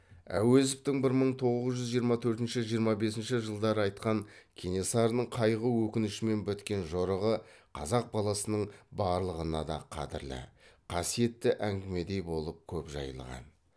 әуезовтің бір мың тоғыз жүз жиырма төртінші жиырма бесінші жылдары айтқан кенесарының қайғы өкінішімен біткен жорығы қазақ баласының барлығына да қадірлі қасиетті әңгімедей болып көп жайылған